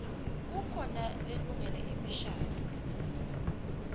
kukhona lelungele imishadvo